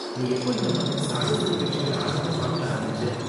நீ எப்போ இந்த மாதிரி சாகச நிகழ்ச்சிகள ஆர்வமா பாக்க ஆரம்பிச்சே?